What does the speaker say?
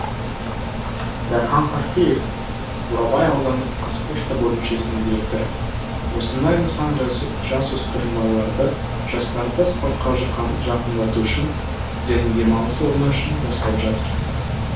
дархан қаскеев бурабай аудандық қазпошта бөлімшесінің директоры осындай нысан жасөспірім балаларды жастарды спортқа жақындату үшін және демалыс орны үшін жасалып жатыр